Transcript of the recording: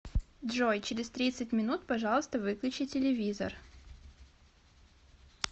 джой через тридцать минут пожалуйста выключи телевизор